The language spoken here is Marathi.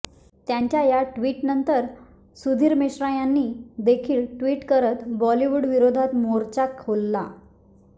त्यांच्या या ट्विटनंतर सुधीर मिश्रां यांनी देखील ट्विट करत बॉलिवूडविरोधात मोर्चा खोलला